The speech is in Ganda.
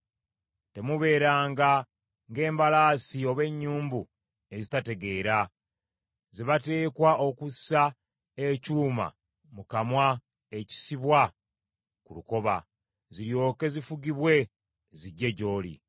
Temubeeranga ng’embalaasi oba ennyumbu ezitategeera, ze bateekwa okussa ekyuma mu kamwa ekisibwa ku lukoba, ziryoke zifugibwe zijje gy’oli.